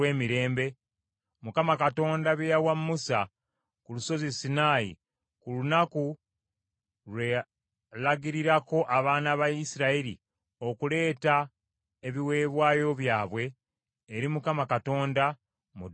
Mukama Katonda bye yawa Musa ku lusozi Sinaayi ku lunaku lwe yalagirirako abaana ba Isirayiri okuleeta ebiweebwayo byabwe eri Mukama Katonda, mu ddungu lya Sinaayi.